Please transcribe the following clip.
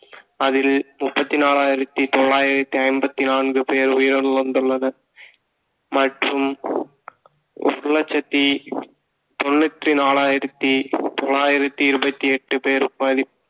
அதில் முப்பத்தி நாலாயிரத்தி தொள்ளாயிரத்தி ஐம்பத்தி நான்கு பேர் உயிரிழந்து வந்துள்ளனர் மற்றும் எட்டு இலட்சத்தி தொண்ணூத்தி நாலாயிரத்தி தொள்ளாயிரத்தி இருபத்தி எட்டு பேர் பாதிப்~